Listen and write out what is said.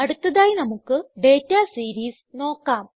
അടുത്തതായി നമുക്ക് data series നോക്കാം